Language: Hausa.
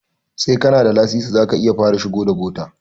Sai kana da lasisi zaka iya fara shigo da bota